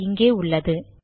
அது இங்கே உள்ளது